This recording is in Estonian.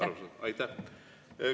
Arusaadav.